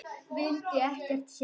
Vildi ekkert sjá.